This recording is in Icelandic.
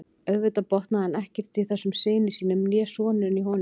Auðvitað botnaði hann ekkert í þessum syni sínum né sonurinn í honum.